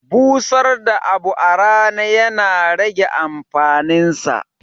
Busar da abu a rana ya na rage amfanin sa.